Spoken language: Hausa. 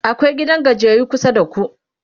akwai gidan gajiyayyu kusa da ku?